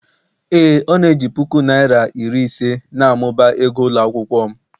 Ee Ọ na-eji puku naịra iri ise na-amụba ego ụlọ akwụkwọ m